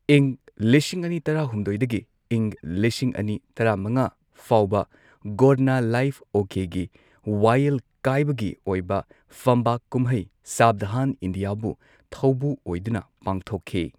ꯏꯪ ꯂꯤꯁꯤꯡ ꯑꯅꯤ ꯇꯔꯥ ꯍꯨꯝꯗꯣꯏꯗꯒꯤ ꯏꯪ ꯂꯤꯁꯤꯡ ꯑꯅꯤ ꯇꯔꯥ ꯃꯉꯥ ꯐꯥꯎꯕ, ꯒꯣꯔꯅ ꯂꯥꯏꯐ ꯑꯣꯀꯦꯒꯤ ꯋꯥꯌꯦꯜ ꯀꯥꯏꯕꯒꯤ ꯑꯣꯏꯕ ꯐꯝꯕꯥꯛ ꯀꯨꯝꯍꯩ ꯁꯥꯕꯙꯥꯟ ꯏꯟꯗꯤꯌꯥꯕꯨ ꯊꯧꯕꯨ ꯑꯣꯏꯗꯨꯅ ꯄꯥꯡꯊꯣꯛꯈꯤ꯫